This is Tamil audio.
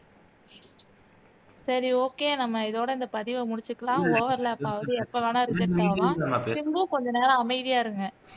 சரி okay நம்ம இதோட இந்த பதிவை முடிச்சுக்கலாம் overlap ஆவுது எப்போ வேணா reject ஆவோம் சிம்பு கொஞ்ச நேரம் அமைதியா இருங்க